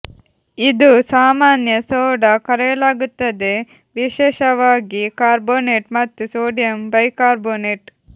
ಇದು ಸಾಮಾನ್ಯ ಸೋಡಾ ಕರೆಯಲಾಗುತ್ತದೆ ವಿಶೇಷವಾಗಿ ಕಾರ್ಬೋನೇಟ್ ಮತ್ತು ಸೋಡಿಯಂ ಬೈಕಾಬ್ರೋನೇಟ್